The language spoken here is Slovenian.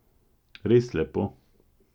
Res lepo.